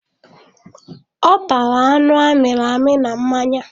Ọ tara anụ amiri amị na mmanya